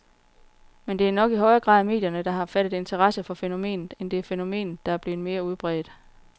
Men det er nok i højere grad medierne, der har fattet interesse for fænomenet, end det er fænomenet, der er blevet mere udbredt.